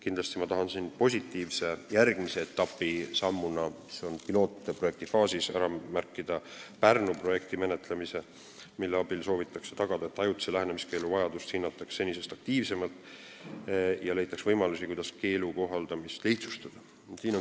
Kindlasti tahan ma positiivse ja järgmise etapi sammuna, mis on pilootprojekti faasis, ära märkida Pärnu projekti, mille abil soovitakse tagada, et ajutise lähenemiskeelu vajadust hinnataks senisest aktiivsemalt ja leitaks võimalusi, kuidas keelu kohaldamist lihtsustada.